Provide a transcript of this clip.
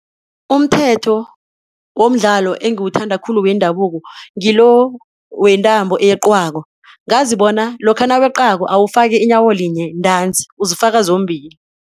Umthetho womdlalo engiwuthanda khulu wendabuko ngilo wentambo eyeqwako, ngazi bona lokha naweqako uwufaki inyawo linye ntanzi, uzifaka zombili.